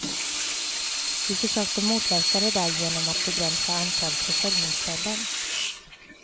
Vi försökte motverka det där genom att begränsa antalet försäljningsställen.